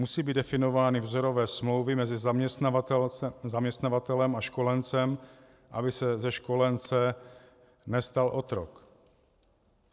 Musí být definovány vzorové smlouvy mezi zaměstnavatelem a školencem, aby se ze školence nestal otrok.